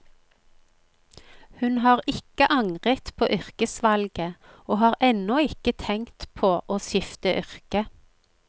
Hun har ikke angret på yrkesvalget, og har ennå ikke tenkt på å skifte yrke.